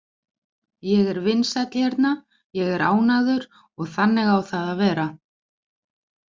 Ég er vinsæll hérna, ég er ánægður og þannig á það að vera.